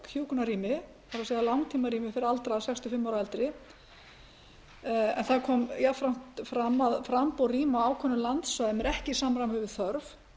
hjúkrunarrými fyrir aldraða sextíu og fimm ára og eldri en jafnframt kom fram að framboð rýma á ákveðnum landsvæðum er ekki í samræmi við þörf